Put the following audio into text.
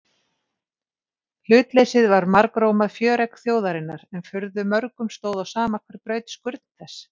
Hlutleysið var margrómað fjöregg þjóðarinnar en furðu mörgum stóð á sama hver braut skurn þess.